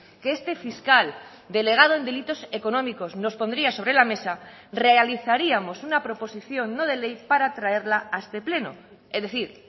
que este fiscal delegado en delitos económicos nos pondría sobre la mesa realizaríamos una proposición no de ley para traerla a este pleno es decir